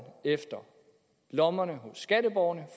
efter lommerne hos skatteborgerne